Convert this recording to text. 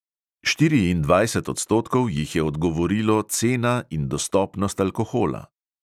Štiriindvajset odstotkov jih je odgovorilo cena in dostopnost alkohola.